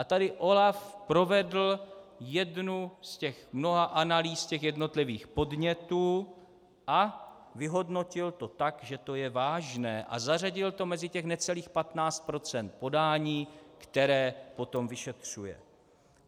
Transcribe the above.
A tady OLAF provedl jednu z těch mnoha analýz těch jednotlivých podnětů a vyhodnotil to tak, že to je vážné, a zařadil to mezi těch necelých 15 % podání, která potom vyšetřuje.